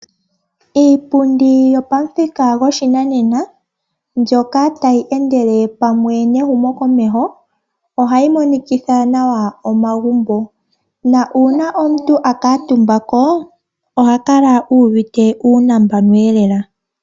Iipundi yo pamuthika go shinanena, mbyoka ta yi endele pamwe nehumo komeho oha yi monikitha nawa omagumbo, na omuntu akuutumbako oha kala uvite uunambanu lela.